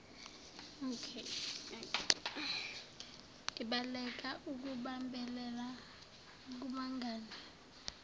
ibaleka ukubambelela kubangane